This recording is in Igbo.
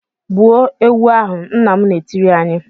"Gbuo ewu ahụ!" Nna m na-etiri anyị.